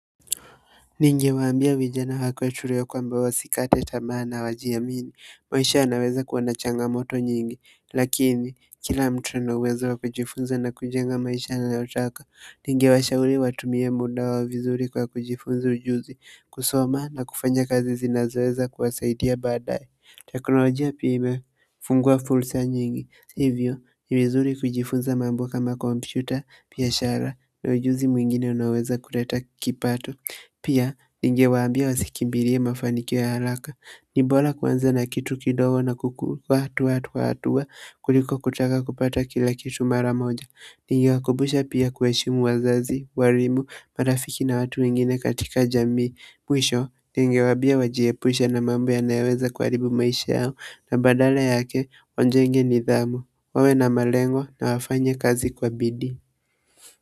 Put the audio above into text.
Ningewaambia vijana wa kwetu leo kwamba wasikate tamaa, wajiamini. Maisha yanaweza kuwa na changamoto nyingi lakini kila mtu ana uwezo wa kujifunza na kujenga anayotaka. Ningewashauri watumie mbinu nzuri za kujifunza ujuzi, kusoma na kufanya kazi zinazoweza kuwasaidia badala ya teknolojia pekee fungua fursa nyingi hivyo, ni nzuri kujifunza mambo kama kompyuta, biashara na ujuzi mwingine unaweza kuleta kipato pia ningewaambia wasifikirie mafanikio ya haraka. Ni bora kuanza na kitu kidogo na kukua hatua kwa hatua kuliko kutaka kupata kila kitu mara moja. Ningewakumbusha pia kuheshimu wazazi, walimu, marafiki na watu wengine katika jamii. Mwisho ningewaambia wajiepushe na mambo yanayoweza kuharibu maisha yao na badala yake wajenge nidhamu, wawe na malengo na wafanye kazi kwa bidii.